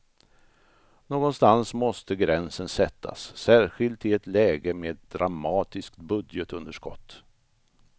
Någonstans måste gränsen sättas, särskilt i ett läge med ett dramatiskt budgetunderskott.